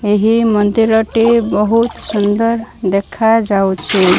ଏହି ମନ୍ଦିର ଟି ବହୁତ ସୁନ୍ଦର ଦେଖା ଯାଉଛି।